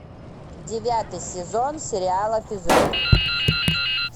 девятый сезон сериала физрук